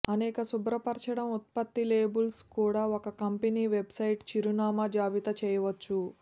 అనేక శుభ్రపరచడం ఉత్పత్తి లేబుల్స్ కూడా ఒక కంపెనీ వెబ్సైట్ చిరునామా జాబితా చేయవచ్చు